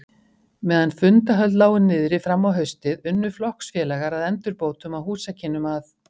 Meðan fundarhöld lágu niðri fram á haustið, unnu flokksfélagar að endurbótum á húsakynnum að